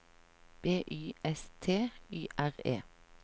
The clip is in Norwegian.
B Y S T Y R E